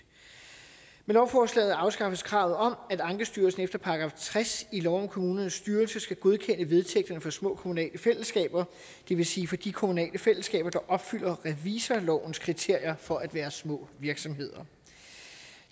med lovforslaget afskaffes kravet om at ankestyrelsen efter § tres i lov om kommunernes styrelse skal godkende vedtægterne for små kommunale fællesskaber det vil sige for de kommunale fællesskaber der opfylder revisorlovens kriterier for at være små virksomheder